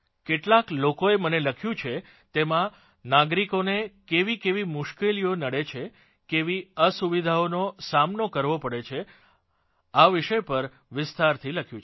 કેટલાક લોકોએ મને લખ્યું છે તેમાં નાગરિકોનો કેવીકેવી મુશ્કેલીઓનો નડે છે કેવી અસુવિધાઓનો સામનો કરવો પડે છે આ વિષય પર વિસ્તારથી લખ્યું છે